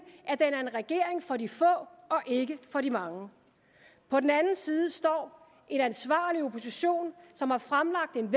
at regering for de få og ikke for de mange på den anden side står en ansvarlig opposition som har fremlagt en